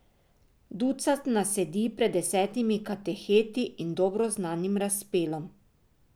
Ducat nas sedi pred desetimi kateheti in dobro znanim razpelom.